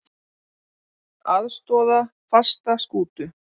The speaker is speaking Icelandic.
Aðstoða fasta skútu